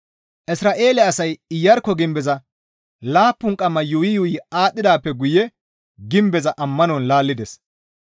Isra7eele asay Iyarkko gimbeza laappun qamma yuuyi yuuyi aadhdhidaappe guye gimbeza ammanon laallides.